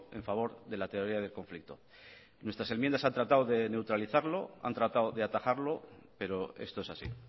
a favor de la teoría del conflicto nuestras enmiendas han tratado de neutralizarlo han tratado de atacarlo pero esto es así